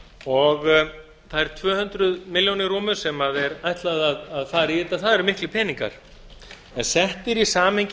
og þær tvö hundruð milljónir rúmu sem er ætlað að fari í þetta eru miklir peningar en settir í samhengi